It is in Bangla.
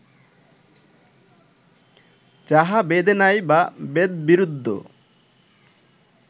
যাহা বেদে নাই বা বেদবিরুদ্ধ